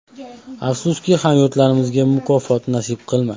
Afsuski, hamyurtimizga mukofot nasib qilmadi.